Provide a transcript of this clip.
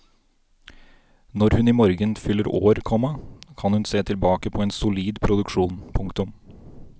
Når hun imorgen fyller år, komma kan hun se tilbake på en solid produksjon. punktum